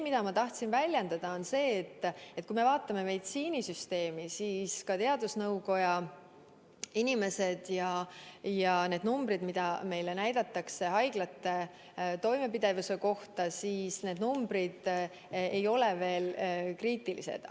Ma tahan öelda seda, et kui me vaatame meditsiinisüsteemi, siis ka teadusnõukoja inimesed ütlevad, et need numbrid, mida meile teatatakse haiglate toimepidevuse kohta, ei ole veel kriitilised.